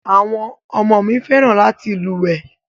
Àwọn ọmọ mi fẹ́ràn láti lúwèé.